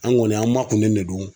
An kɔni an makunnen ne don.